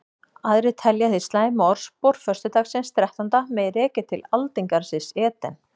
Aðrir telja hið slæma orðspor föstudagsins þrettánda mega rekja til aldingarðsins Eden.